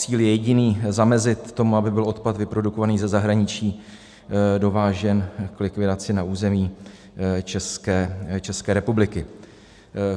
Cíl je jediný: zamezit tomu, aby byl odpad vyprodukovaný ze zahraničí dovážen k likvidaci na území České republiky.